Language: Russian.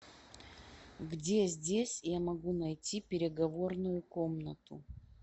где здесь я могу найти переговорную комнату